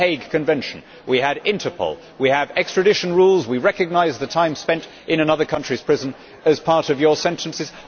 We had the Hague Convention, we had Interpol, we have extradition rules, and we recognise the time spent in another country's prison as part of one's sentence.